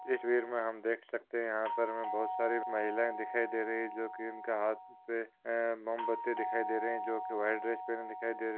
तस्वीर में हम देख सकते यहाँ पर हमे बहुत सारे महिलाएँ दिखाई दे रही है जो की उनका हाथ पे अह मोमबत्ती दिखाई दे रही है जो की व्हाइट ड्रेस पहनी दिखाई दे रही है।